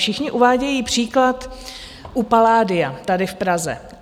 Všichni uvádějí příklad u Palladia tady v Praze.